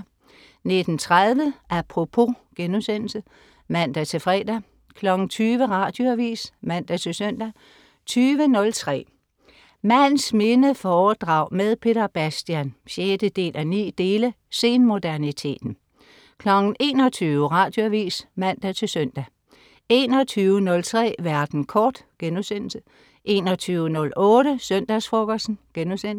19.30 Apropos* (man-fre) 20.00 Radioavis (man-søn) 20.03 Mands minde foredrag med Peter Bastian 6:9. Senmoderniteten 21.00 Radioavis (man-søn) 21.03 Verden kort* 21.08 Søndagsfrokosten*